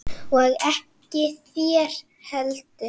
Og ekki þér heldur!